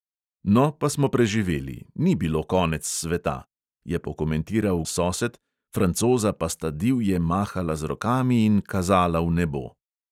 "No, pa smo preživeli, ni bilo konec sveta," je pokomentiral sosed, francoza pa sta divje mahala z rokami in kazala v nebo.